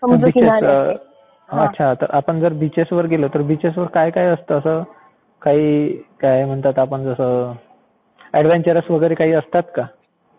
अच्छा. तर आपण असं बिचेसवर गेलो तर बिचेसवर काय असतं असं. काय म्हणतात आपण जसं एडवेंचर्स वगैरे असतात का?